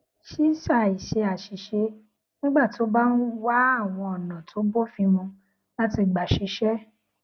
ṣíṣàì ṣe àṣìṣe nígbà tó o bá ń wá àwọn ònà tó bófin mu láti gbà ṣiṣé